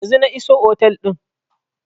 Yanzun na iso otel din